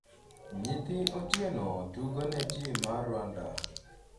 nyithi Otieno tugo ne tim mar Rwanda